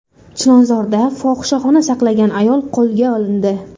Chilonzorda fohishaxona saqlagan ayol qo‘lga olindi.